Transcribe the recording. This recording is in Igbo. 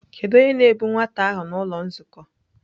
Kedu onye na-ebu nwata ahụ n'ụlọ nzukọ?